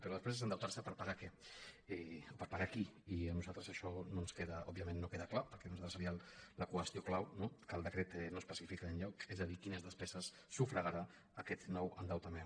però després és endeutar·se per pagar què o per pagar qui i a nos·altres això òbviament no ens queda clar perquè per nosaltres seria la qüestió clau no que el decret no especifica enlloc és a dir quines despeses sufragarà aquest nou endeutament